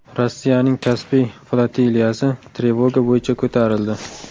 Rossiyaning Kaspiy flotiliyasi trevoga bo‘yicha ko‘tarildi.